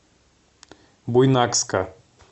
буйнакска